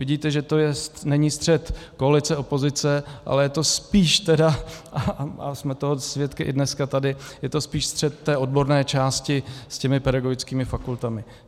Vidíte, že to není střet koalice - opozice, ale je to spíš tedy, a jsme toho svědky i dneska tady, je to spíš střet té odborné části s těmi pedagogickými fakultami.